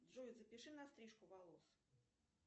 джой запиши на стрижку волос